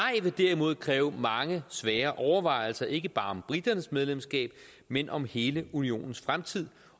vil derimod kræve mange svære overvejelser ikke bare om briternes medlemskab men om hele unionens fremtid